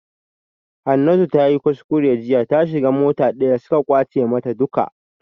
Hanatu tayi kuskure jiya ta shiga mota daya suka kwace mata duka